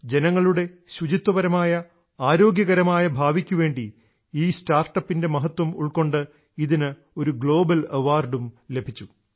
ജനങ്ങളുടെ ശുചിത്വപരമായ ആരോഗ്യകരമായ ഭാവിക്കുവേണ്ടി ഈ സ്റ്റാർട്ടപ്പ് ൻറെ മഹത്വം ഉൾക്കൊണ്ട് ഇതിന് ഒരു ഗ്ലോബൽ അവാർഡും ലഭിച്ചു